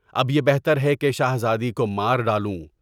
اب یہ بہتر ہے کہ شہزادی کو مار ڈالوں۔